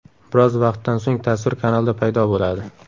Biroz vaqtdan so‘ng tasvir kanalda paydo bo‘ladi.